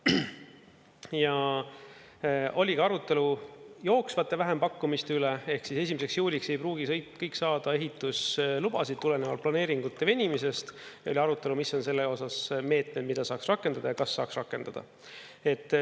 Ja oli ka arutelu jooksvate vähempakkumiste üle, ehk siis 1. juuliks ei pruugi kõik saada ehituslubasid tulenevalt planeeringute venimisest, ja oli arutelu, mis on selle osas meetmed, mida saaks rakendada ja kas saaks rakendada.